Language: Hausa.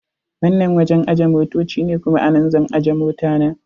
Wannan wajen ajiye motoci ne, kuma a nan zan ajje mota na.